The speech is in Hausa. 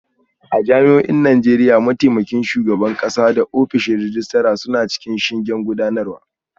A jami'o'in Najeriya, mataimakin shugaban kasa da ofishin rejista suna cikin shingen gudanarwa